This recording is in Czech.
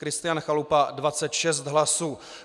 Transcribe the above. Kristian Chalupa 26 hlasů.